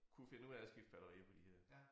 Kunne finde ud af at skifte batterier på de her